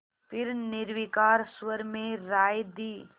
फिर निर्विकार स्वर में राय दी